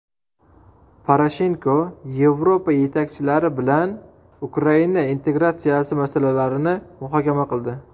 Poroshenko Yevropa yetakchilari bilan Ukraina integratsiyasi masalalarini muhokama qildi.